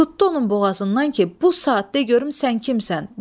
Tutdu onun boğazından ki, bu saatda görüm sən kimsən?